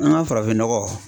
An ka farafinnɔgɔ